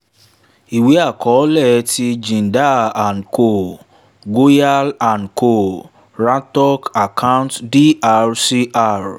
iwe akọọlẹ ti jindal and co goyal and co rohtak account dr cr